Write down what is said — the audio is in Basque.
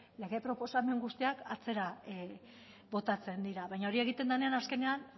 lege proposamen guztiak atzera botatzen dira baina hori egiten denean azkenean